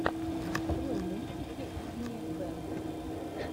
открой мультики игнея бэнд